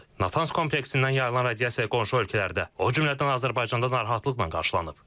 Natanz kompleksindən yayılan radiasiya qonşu ölkələrdə, o cümlədən Azərbaycanda narahatlıqla qarşılanıb.